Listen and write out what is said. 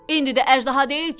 İndi də əjdaha deyil ki?